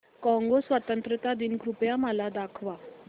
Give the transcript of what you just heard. Congo स्वतंत्रता दिन कृपया मला दाखवा